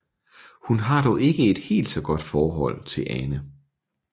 Hun har dog ikke et helt så godt forhold til Ane